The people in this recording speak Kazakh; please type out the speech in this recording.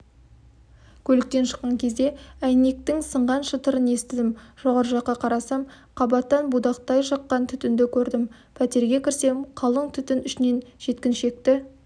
көліктен шыққан кезде әйнектің сынған шытырын естідім жоғары жаққа қарасам қабаттан будақтай шыққан түтінді көрдім пәтерге кірсем қалың түтін ішінен жеткіншекті